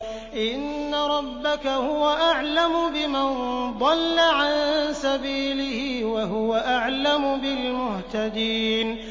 إِنَّ رَبَّكَ هُوَ أَعْلَمُ بِمَن ضَلَّ عَن سَبِيلِهِ وَهُوَ أَعْلَمُ بِالْمُهْتَدِينَ